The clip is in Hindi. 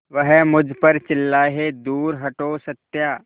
वह मुझ पर चिल्लाए दूर हटो सत्या